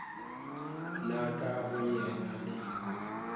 la ka go yena le